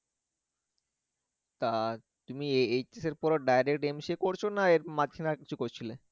তা তুমি HS এর পড়া direct MCA এমসে করছো নাকি এর মাঝখানে আরকিছু করছিলে?